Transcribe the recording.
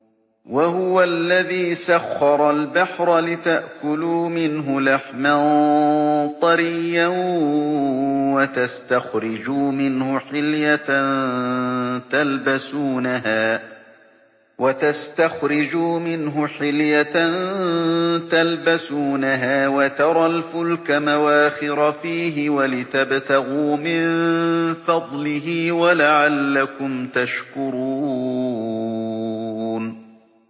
وَهُوَ الَّذِي سَخَّرَ الْبَحْرَ لِتَأْكُلُوا مِنْهُ لَحْمًا طَرِيًّا وَتَسْتَخْرِجُوا مِنْهُ حِلْيَةً تَلْبَسُونَهَا وَتَرَى الْفُلْكَ مَوَاخِرَ فِيهِ وَلِتَبْتَغُوا مِن فَضْلِهِ وَلَعَلَّكُمْ تَشْكُرُونَ